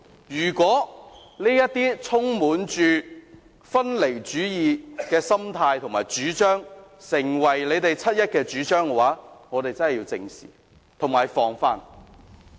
如果分離主義的心態和主張成為他們七一遊行的主張，我們便真的要正視和防範。